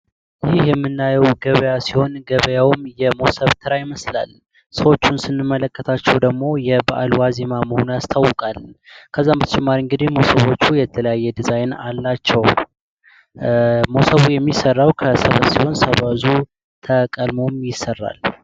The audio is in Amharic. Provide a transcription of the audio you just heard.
ይህ የምናየው ገበያ ሲሆን ገበያውም የሞስብ ተራ ይመስላል። ሰዎችን ስንመለከታቸው ደግሞ የበዓለ ዋዜማ መሆኑ ያስታውቃል። ከዛ በተጨማሪ የተለያዩ የዲዛይን አላቸው። ሞሰቡ የሚሠራውን ከተለያዩ ሰበዝ ሲሆን ሰብዙ ተቀሞም ይሰራል።